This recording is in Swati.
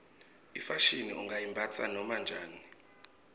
ifashini ungayimbatsa noma njani